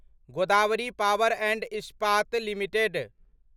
Godavari power and Ispat limited